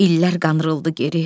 İllər qandırıldı geri.